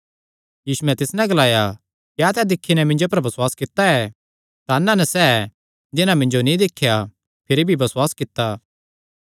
यीशुयैं तिस नैं ग्लाया क्या तैं दिक्खी नैं मिन्जो पर बसुआस कित्ता ऐ धन हन सैह़ जिन्हां मिन्जो नीं दिख्या भिरी भी बसुआस कित्ता